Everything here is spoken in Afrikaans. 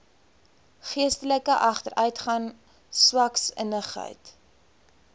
geestelike agteruitgang swaksinnigheid